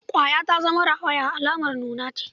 Ƙwaya ta zama rawaya alamar nuna ce.